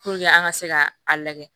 an ka se ka a lagɛ